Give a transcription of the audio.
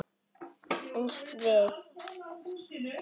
Eins við